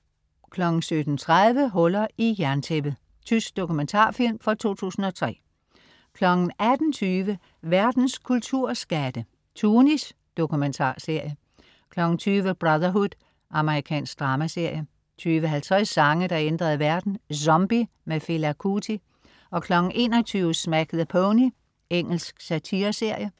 17.30 Hullet i jerntæppet. Tysk dokumentarfilm fra 2003 18.20 Verdens kulturskatte. "Tunis" Dokumentarserie 20.00 Brotherhood. Amerikansk dramaserie 20.50 Sange, der ændrede verden. "Zombie" Fela Kuti 21.00 Smack the Pony. Engelsk satireserie